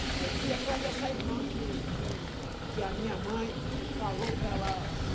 Aí eu fui atrás dessa irmã que que que a minha mãe falou para ela...